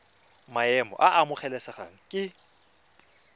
maemo a a amogelesegang ke